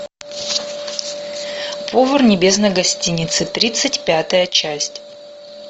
повар небесной гостиницы тридцать пятая часть